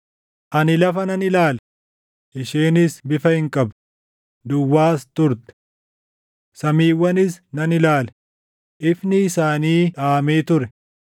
Ani lafa nan ilaale; isheenis bifa hin qabdu; duwwaas turte; samiiwwanis nan ilaale; ifni isaanii dhaamee ture.